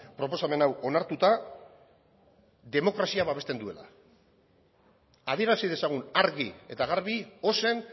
proposamen hau onartuta demokrazia babesten duela adierazi dezagun argi eta garbi ozen